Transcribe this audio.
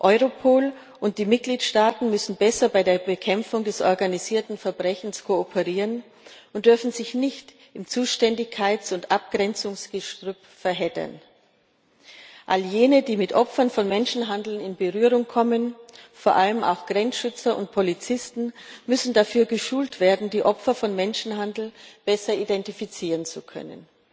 Thailand. Europol und die Mitgliedstaaten müssen besser bei der Bekämpfung des organisierten Verbrechens kooperieren und dürfen sich nicht im Zuständigkeits und Abgrenzungsgestrüpp verheddern. All jene, die mit Opfern von Menschenhandel in Berührung kommen vor allem auch Grenzschützer und Polizisten müssen dafür geschult werden, die Opfer von Menschenhandel besser identifizieren